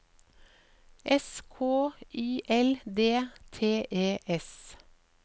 S K Y L D T E S